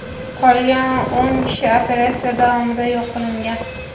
Qolgan o‘n kishi operatsiya davomida yo‘q qilingan.